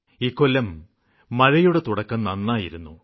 ഇക്കൊല്ലം മഴയുടെ തുടക്കം നന്നായിരുന്നു